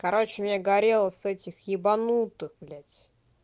короче мне горела с этих ебанутых блядь